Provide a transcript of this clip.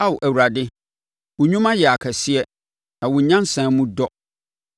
Ao Awurade, wo nnwuma yɛ akɛseɛ, na wo nyansa mu dɔ!